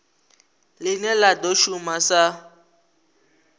line la do shuma sa